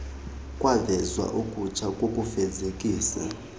kwavezwa okutsha kokufezekisa